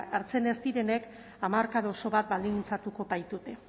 hartzen ez direnek hamarkada oso bat baldintzatuko baitute